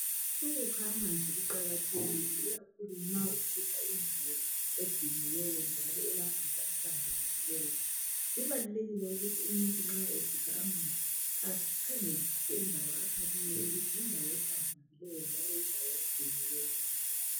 Ukukha amanzi kuqakathekile ikakhulu nxa usikha indawo egciniweyo njalo elamanzi ahlambulukileyo, kubalulekile ukuthi umuntu nxa esikha amanzi akhangelisise indawo akha kiyo ukuthi yindawo ehlambulukileyo njalo yindawo egcinjweyo.